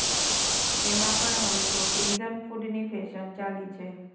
તેમાં પણ હવે તો ફ્રીઝન ફૂડની ફેશન ચાલી છે